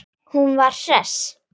Hún var hress.